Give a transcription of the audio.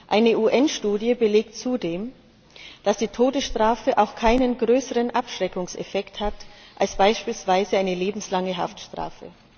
Eine UN Studie belegt zudem, dass die Todesstrafe auch keinen größeren Abschreckungseffekt hat als beispielsweise eine lebenslange Haftstrafe.